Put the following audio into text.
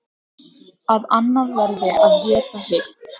Að annað verði að éta hitt.